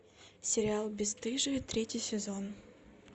сериал бесстыжие третий сезон